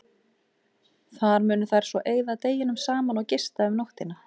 Þar munu þær svo eyða deginum saman og gista um nóttina.